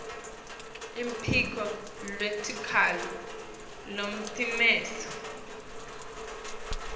luphiko lwetikhalo lolutimele